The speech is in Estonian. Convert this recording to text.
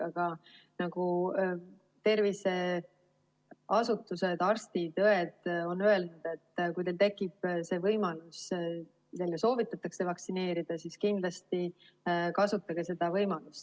Aga nagu terviseasutused, arstid-õed on öelnud, et kui teil tekib see võimalus, et teile soovitatakse vaktsineerimist, siis kindlasti kasutage seda võimalust.